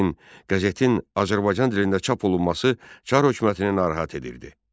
Lakin qəzetin Azərbaycan dilində çap olunması Çar hökumətini narahat edirdi.